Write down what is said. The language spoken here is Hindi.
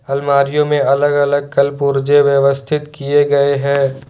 अलमारियों में अलग अलग कलपुर्जे व्यवस्थित किए गए है।